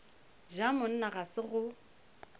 ja monna ga se go